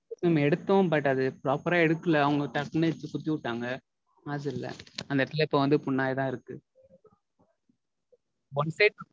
Mam எடுத்தோம் But அது proper எடுக்கல. அவங்க டக்குனு எடுத்து குத்துவுட்டாங்க nostril ல அந்த எடத்துல இப்போ வந்து புண் ஆய்தா இருக்கு One time